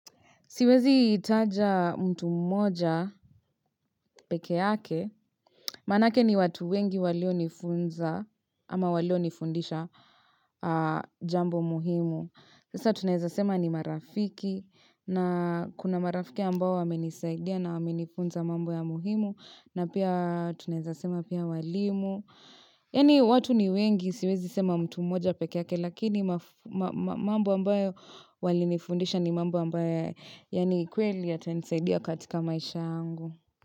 Siwezi itaja mtu moja peke yake, manake ni watu wengi walio nifunza ama walio nifundisha jambo muhimu. Sasa tunazasema ni marafiki na kuna marafiki ambao wamenisaidia na wamenifunza mambo ya muhimu na pia tunazasema pia walimu. Yani watu ni wengi siwezi sema mtu moja pekeake lakini mambo ambayo wali nifundisha ni mambo ambayo yani kweli ya tenisaidia katika maisha angu.